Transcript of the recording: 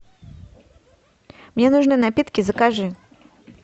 мне нужны напитки закажи